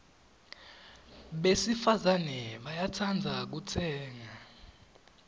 besifazane bayatsandza kutsenga